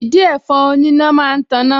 Ìdin ẹ̀fọn oníná máa ń taná